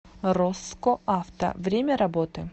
росско авто время работы